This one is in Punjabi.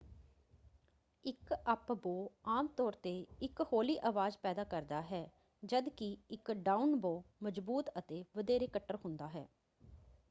ਇੱਕ ਅੱਪ-ਬੋਅ ਆਮ ਤੌਰ ‘ਤੇ ਇੱਕ ਹੌਲੀ ਆਵਾਜ਼ ਪੈਦਾ ਕਰਦਾ ਹੈ ਜਦ ਕਿ ਇੱਕ ਡਾਊਨ-ਬੋਅ ਮਜ਼ਬੂਤ ​​ਅਤੇ ਵਧੇਰੇ ਕੱਟੜ ਹੁੰਦਾ ਹੈ।